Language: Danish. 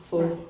Nej